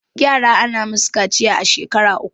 yara ana musu kaciya a shekar uku